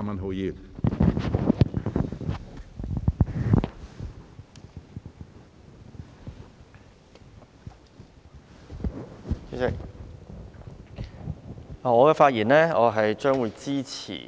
主席，我發言支持